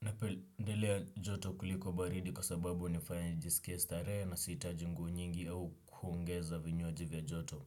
Napendelea joto kuliko baridi kwa sababu hunifanya nijisikie starehe na sihitaji nguo nyingi au kuongeza vinywaji vya joto.